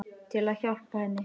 Til að hjálpa henni.